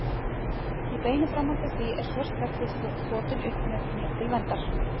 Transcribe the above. Í beinu framhaldi af því er svört regnhlíf þotin upp mér til verndar.